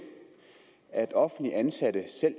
at offentligt ansatte selv